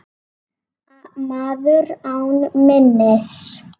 Maður án minnis.